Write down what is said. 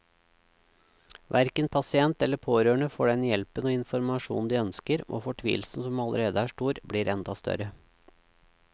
Hverken pasient eller pårørende får den hjelpen og informasjonen de ønsker, og fortvilelsen som allerede er stor, blir enda større.